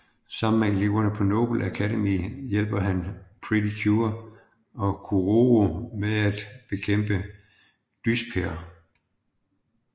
Sammen med eleverne på Noble Academy hjælper han Pretty Cure og Kuroro med at bekæmpe Dyspear